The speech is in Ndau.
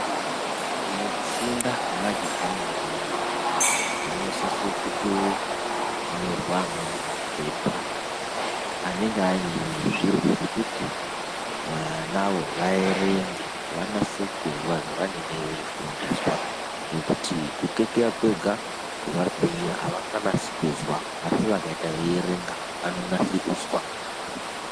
Mukufunda kwemajaha nentombi munosisa kutonyorwa amweni mapepa anenge ane zviro zvekuti vanawo vaerenge vanase kuzwa zvavanenge veifundiswa ngekuti kukekeya kwega kuvabhira avanganasi kuzwa asi vakaita veierenga vanonasa kuzwa.